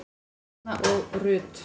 Erna og Rut.